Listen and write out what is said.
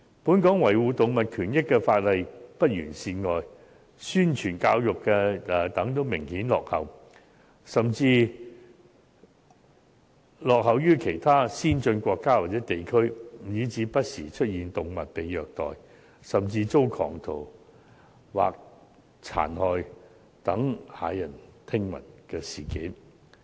本港除了維護動物權益的法例有欠完善外，宣傳教育亦明顯落後於其他先進國家或地區，以致不時出現動物被虐待，甚至遭狂徒殘害等駭人聽聞的事件。